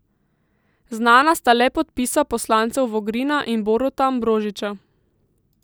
Znana sta le podpisa poslancev Vogrina in Boruta Ambrožiča.